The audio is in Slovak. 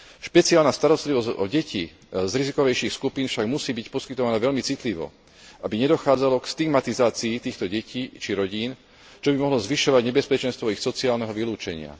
Špeciálna starostlivosť o deti z rizikovejších skupín však musí byť poskytovaná veľmi citlivo, aby nedochádzalo k stigmatizácii týchto detí či rodín, čo by mohlo zvyšovať nebezpečenstvo ich sociálneho vylúčenia.